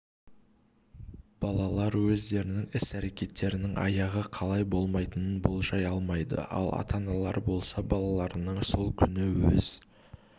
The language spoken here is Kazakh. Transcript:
балалар өздерінің іс-әрекеттерінің аяғы қалай болатынын болжай алмайды ал ата-аналар болса балаларының сол күні өз